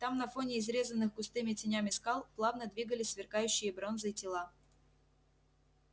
там на фоне изрезанных густыми тенями скал плавно двигались сверкающие бронзой тела